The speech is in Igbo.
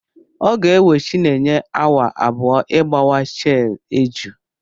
Ọ ga-ewe chinenye awa abụọ ịgbawa shei eju.